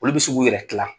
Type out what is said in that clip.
Olu bɛ se k'u yɛrɛ dilan